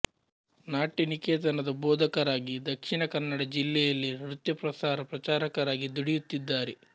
ನಾಟ್ಯ ನಿಕೇತನದ ಭೋದಕರಾಗಿ ದಕ್ಷಿಣ ಕನ್ನಡ ಜಿಲ್ಲೆಯಲ್ಲಿ ನೃತ್ಯ ಪ್ರಸಾರ ಪ್ರಚಾರಕರಾಗಿ ದುಡಿಯುತ್ತಿದ್ದಾರೆ